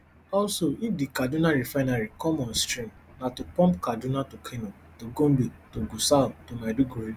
also if di kaduna refinery come on stream na to pump kaduna to kano to gombe to gusau to maiduguri